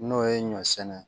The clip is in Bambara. N'o ye ɲɔ sɛnɛ